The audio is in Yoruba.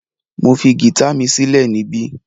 Mo fi gita mi silẹ nibẹ